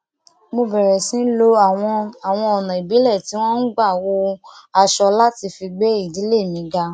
mo bèrè sí lo àwọn àwọn ònà ìbílẹ tí wón ń gbà hun aṣọ láti fi gbé ìdílé mi ga